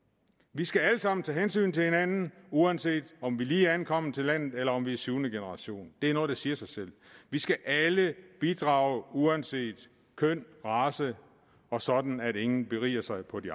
vi skal alle sammen tage hensyn til hinanden uanset om vi lige er ankommet til landet eller om vi er syvende generation det er noget der siger sig selv vi skal alle bidrage uanset køn og race og sådan at ingen beriger sig på de